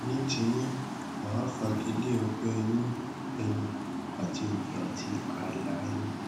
ní ti yín mà á fagilé ọgbẹ inú ẹnu àti òkè àti ààlà ẹnu